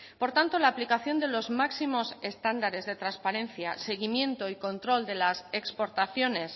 por tanto la aplicación de los máximos estándares de transparencia seguimiento y control de las exportaciones